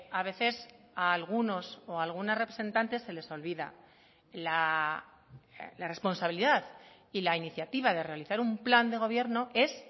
a veces a algunos o algunas representantes se les olvida la responsabilidad y la iniciativa de realizar un plan de gobierno es